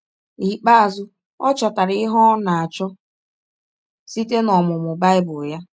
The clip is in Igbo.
N’ikpeazụ, ọ chọtara ihe ọ nọ na - achọ site n’ọmụmụ Bible ya.